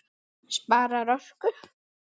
Spara orku.